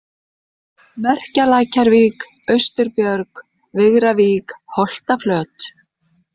Merkjalækjarvík, Austurbjörg, Vigravík, Holtaflöt